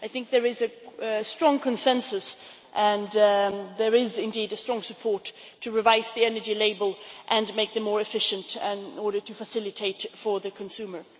I think there is a strong consensus and there is indeed a strong support to revise the energy label and make it more efficient in order to facilitate for the consumer.